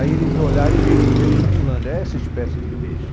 Aí eles olharam e viram os peixes pulando, é essa espécie de peixe.